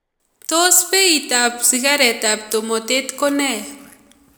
Tos beyiitab sikareetab tumoteet ko ne?